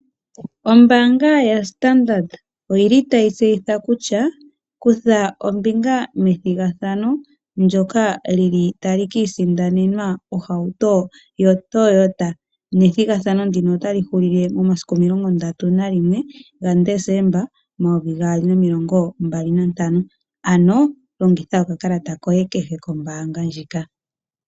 Ombaanga yaStandard oyili tayi tseyitha kutya kutha ombinga methigathano ndyoka lyili tali ka isindanenwa ohauto yoToyota nethigathano ndino otali hulu momasiku 31 Desemba 2025 ano longitha okakalata koye kehe kombaanga ndjika.